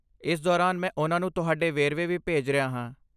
ਇਸ ਦੌਰਾਨ, ਮੈਂ ਉਨ੍ਹਾਂ ਨੂੰ ਤੁਹਾਡੇ ਵੇਰਵੇ ਵੀ ਭੇਜ ਰਿਹਾ ਹਾਂ।